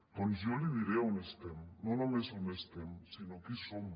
doncs jo li diré on estem no només on estem sinó qui som